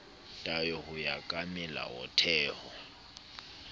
tayo ho ya ka melaotheo